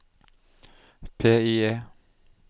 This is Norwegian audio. PIE